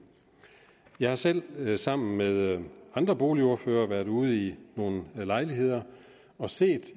jeg har selv sammen med andre boligordførere været ude i nogle lejligheder og set